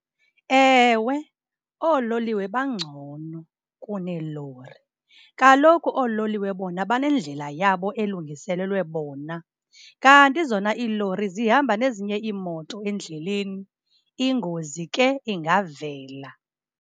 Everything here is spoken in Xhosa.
Ewe, oololiwe bangcono kuneelori. Kaloku ololiwe bona banendlela yabo elungiselelwe bona, kanti zona iilori zihamba nezinye imoto endleleni. Ingozi ke ingavela.